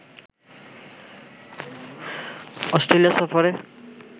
Australia সফরে